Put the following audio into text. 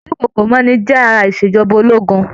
Ìdúnkokò mọ́ni jẹ́ ara ìṣèjọba ológun.